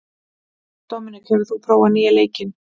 Dominik, hefur þú prófað nýja leikinn?